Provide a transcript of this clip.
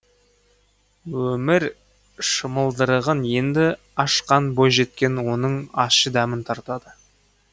өмір шымылдырығын енді ашқан бойжеткен оның ащы дәмін тартады